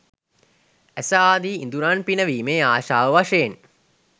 ඇස ආදි ඉඳුරන් පිනවීමේ ආශාව වශයෙන්